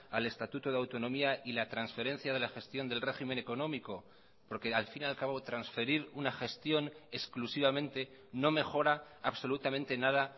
al estatuto de autonomía y la transferencia de la gestión del régimen económico porque al fin y al cabo transferir una gestión exclusivamente no mejora absolutamente nada